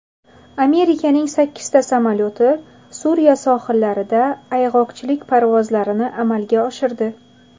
Amerikaning sakkizta samolyoti Suriya sohillarida ayg‘oqchilik parvozlarini amalga oshirdi.